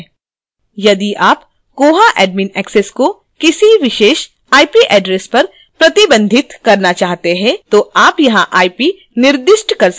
यदि आप koha admin access को किसी विशेष ip address पर प्रतिबंधित करना चाहते हैं तो आप यहां ip निर्दिष्ट कर सकते हैं